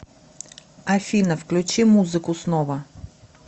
афина включи музыку снова